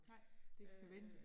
Nej, det ven